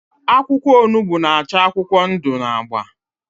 akwụkwọ onugbu n'ach akwụkwọ ndụ na agba.